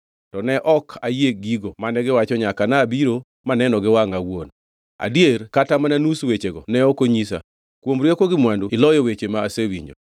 To ne ok ayie gigo mane giwacho nyaka nabiro maneno gi wangʼa awuon. Adier kata mana nus wechego ne ok onyisa; kuom rieko gi mwandu iloyo weche ma asewinjo.